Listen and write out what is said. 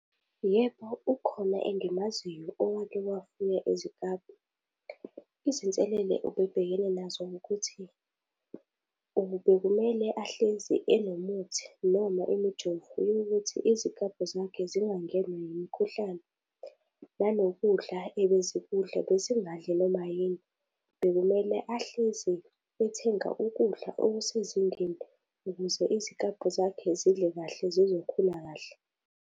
Yebo, ukhona engimaziyo owake wafuya iziklabhu. Izinselele ubebhekene nazo ukuthi bekumele ahlezi enomuthi noma imijovo yokuthi iziklabhu zakhe zingangenwa umkhuhlane, nanokudla ebezikudla bezingandli noma yini. Bekumele ahlezi ethenga ukudla okusezingeni ukuze iziklabhu zakhe zidle kahle, zizokhula kahle.